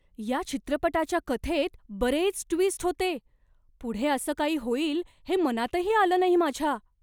या चित्रपटाच्या कथेत बरेच ट्वीस्ट होते! पुढे असं काही होईल हे मनातही आलं नाही माझ्या.